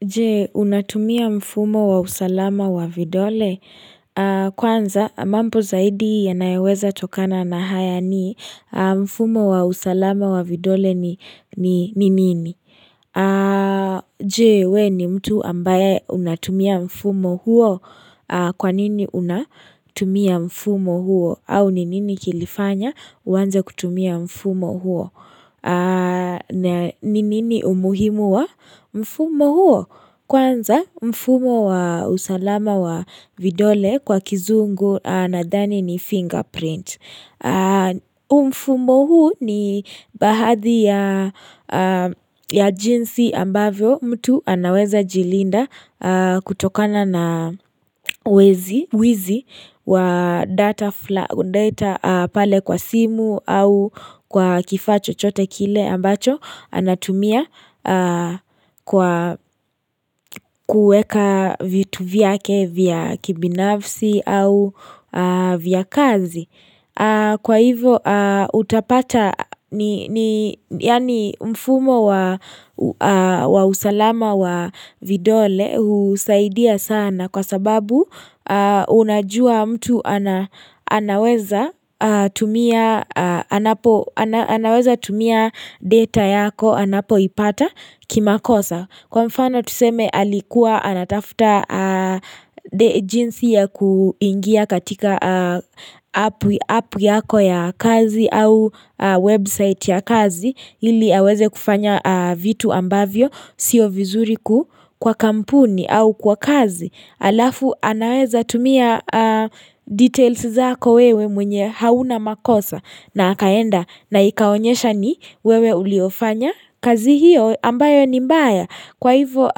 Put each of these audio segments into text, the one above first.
Je, unatumia mfumo wa usalama wa vidole? Kwanza, mambo zaidi yanayoweza tokana na haya ni, mfumo wa usalama wa vidole ni nini? Je, we ni mtu ambaye unatumia mfumo huo? Kwanini unatumia mfumo huo? Au ni nini kilifanya uanze kutumia mfumo huo? Ni nini umuhimu wa Mfumo huo? Kwanza mfumo wa usalama wa vidole kwa kizungu nadhani ni fingerprint mfumo huu ni baadhi ya jinsi ambavyo mtu anaweza jilinda kutokana na wizi wa data fulani kwa simu au kwa kifaa chochote kile ambacho anatumia kwa kuweka vitu vyake vya kibinafsi au vya kazi Kwa hivo utapata yani mfumo wa usalama wa vidole husaidia sana kwa sababu unajua mtu anaweza tumia data yako anapoipata kimakosa. Kwa mfano tuseme alikuwa anatafuta jinsi ya kuingia katika app yako ya kazi, au website ya kazi ili aweze kufanya vitu ambavyo sio vizuri kwa kampuni au kwa kazi. Halafu anaweza tumia details zako wewe mwenye hauna makosa na akaenda na ikaonyesha ni wewe uliofanya kazi hiyo ambayo ni mbaya kwa hivo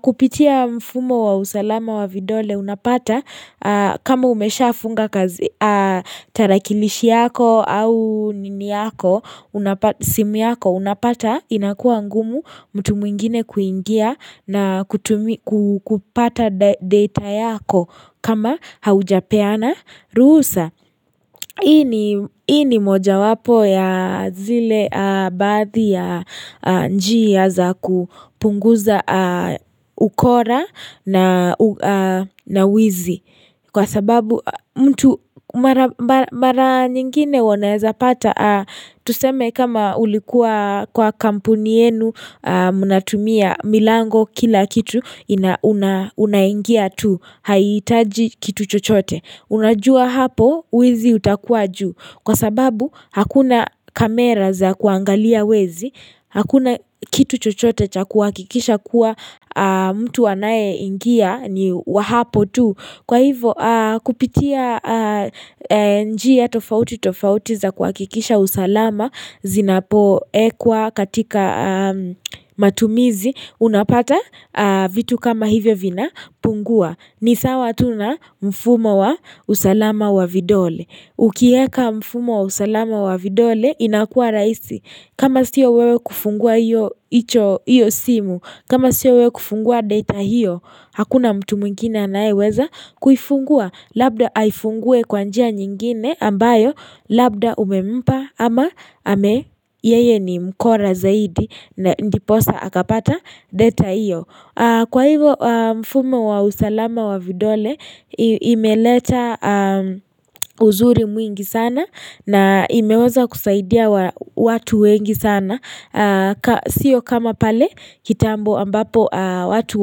kupitia mfumo wa usalama wa vidole unapata kama umesha funga kazi tarakilishi yako au nini yako simu yako unapata inakua ngumu mtu mwingine kuingia na kupata data yako kama haujapeana ruhusa hii ni moja wapo ya zile baadhi ya njia za kupunguza ukora na wizi. Kwa sababu mtu mara nyingine wanaweza pata tuseme kama ulikuwa kwa kampuni yenu unatumia milango kila kitu unaingia tu hahitaji kitu chochote, unajua hapo wizi utakua juu. Kwa sababu hakuna kamera za kuangalia wezi, hakuna kitu chochote cha kuhakikisha kuwa mtu anayeingia ni wa hapo tu. Kwa hivyo kupitia njia ya tofautitofauti za kuhakikisha usalama zinapoekwa katika matumizi unapata vitu kama hivyo vinapungua. Ni sawa tu na mfumo wa usalama wa vidole. Ukieka mfumo wa usalama wa vidole inakuwa raisi. Kama siyo wewe kufungua hiyo simu, kama siyo wewe kufungua data hiyo. Hakuna mtu mwingine anayeweza. Kufungua labda aifungue kwa njia nyingine. Ambayo labda umempa ama Yeye ni mkora zaidi, na ndiposa akapata data hiyo. Kwa hivyo mfumo wa usalama wa vidole imeleta uzuri mwingi sana na imeweza kusaidia watu wengi sana Sio kama pale kitambo ambapo watu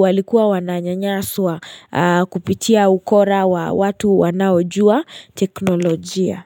walikuwa wananyanyaswa kupitia ukora wa watu wanaojua teknolojia.